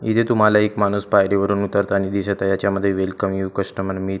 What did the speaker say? इथे तुम्हाला एक माणूस पायरी वरून उतरताना दिसत आहे याच्यामध्ये वेलकम यु कस्टमर मी --